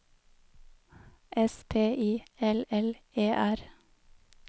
S P I L L E R